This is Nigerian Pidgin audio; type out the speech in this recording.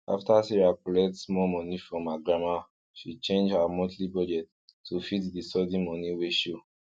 after sarah collect small moni from her grandma she change her monthly budget to fit di sudden moni wey show